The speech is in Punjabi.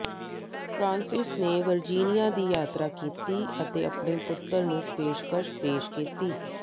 ਫਰਾਂਸਿਸ ਨੇ ਵਰਜੀਨੀਆ ਦੀ ਯਾਤਰਾ ਕੀਤੀ ਅਤੇ ਆਪਣੇ ਪੁੱਤਰ ਨੂੰ ਪੇਸ਼ਕਸ਼ ਪੇਸ਼ ਕੀਤੀ